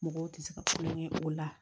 Mɔgɔw tɛ se ka fɛn kɛ o la